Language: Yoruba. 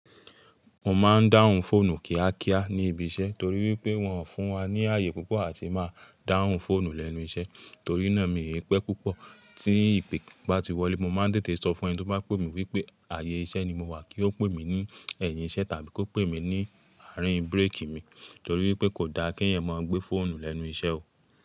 Mo máa ń dáhùn fóònù kíákíá ní ibi iṣẹ́ torí pé wọ́n fún wa ní ààyè púpọ̀ àti máa dáhùn fóònù lẹ́nu iṣẹ́. Torí náà mi ni pẹ́ púpọ̀ tí ìpè bá ti wọlé, mo máa ń tètè sọ fún ẹni tó bá pè mí wípé ààyè iṣẹ́ ni mo wà kí ó pè mí ní ẹ̀yìn iṣẹ́ tàbí kó pè mí ní àárín búrékì mi torí pé kò da kí ẹ̀yàn máa gbé fóònù lẹ́nu iṣẹ́ o.